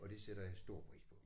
Og det sætter jeg stor pris på